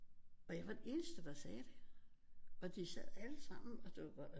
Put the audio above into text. Og jeg var den eneste der sagde det og de sad allesammen